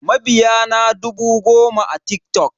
Mabiya na dubu goma a TikTok.